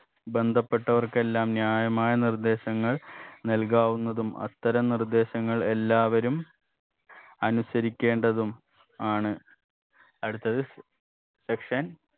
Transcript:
ബന്ധപ്പെട്ടവർക്കെല്ലാം ന്യായമായ നിർദ്ദേശങ്ങൾ നല്കാവുന്നതും അത്തരം നിർദ്ദേശങ്ങൾ എല്ലാവരും അനുസരിക്കേണ്ടതും ആണ് അടുത്തത് section